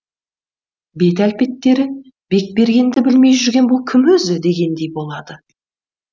бет әлпеттері бекбергенді білмей жүрген бұл кім өзі дегендей болады